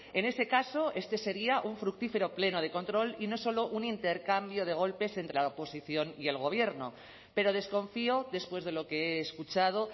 en ese caso este sería un fructífero pleno de control y no solo un intercambio de golpes entre la oposición y el gobierno pero desconfío después de lo que he escuchado